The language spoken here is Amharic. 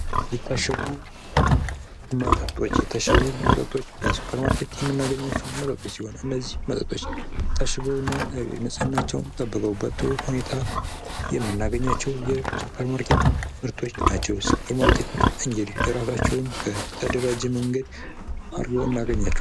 የታሸጉ መጠጦች፤ የታሸጉ መጠጦች በሱፐር ማረኬት የምናገኘዉ መጠጦች ሲሆኑ እነዚህ መጠጦች ታሽገውና ንጽህናቸው ጠብቀው በጥሩ ሁኔታ የምናገኛቸው የሱፐር ማርኬት ምርቶች ናቸው። የሱፐር ማርኬቶች እንግዲህ እራሳቸውን በተደራጀ መንገድ አርገውና አርገኛቸዋለን።